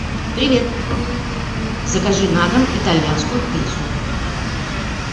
привет закажи на дом итальянскую пиццу